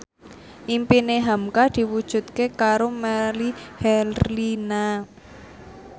impine hamka diwujudke karo Melly Herlina